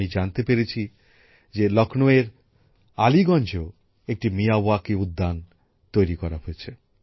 আমি জানতে পেরেছি যে লক্ষ্ণৌয়ের আলীগঞ্জেও একটি মিয়াওয়াকি উদ্যান তৈরি করা হচ্ছে